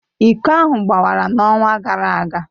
Iko ahụ gbawara n'ọnwa gara aga.